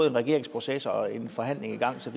en regeringsproces og en forhandling i gang så